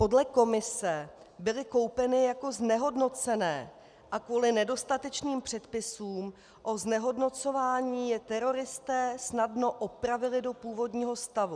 Podle Komise byly koupeny jako znehodnocené a kvůli nedostatečným předpisům o znehodnocování je teroristé snadno opravili do původního stavu.